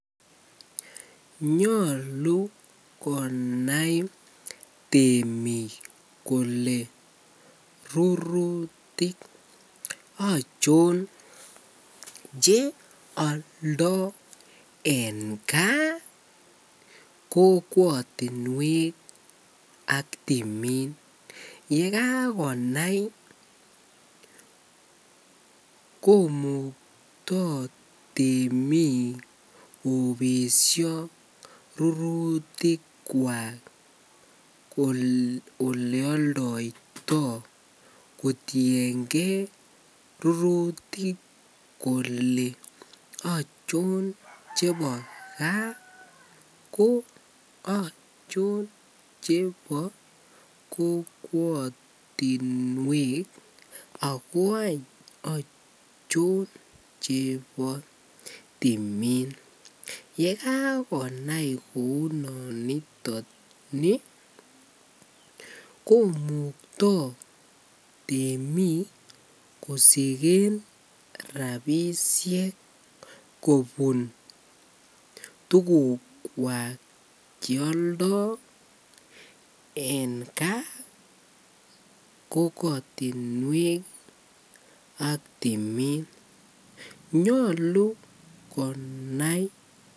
Nyolu konai temik konai kolee rurutik ochon cheoldo en kaa kokwotinwek ak timin, yekakonai komukto temik kobesho rurutikwak olee oldoito kotienge rurutik kolee achon chebo kaa ko achon chebo kokwotinwek ak ko achon chebo timin, yekakonai kounoniton komukto temik kosiken rabishek kobun tukukwak cheoldo en kaa kokwotinwek ak timin, nyolu konai.